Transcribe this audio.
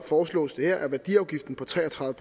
foreslås det her at værdiafgiften på tre og tredive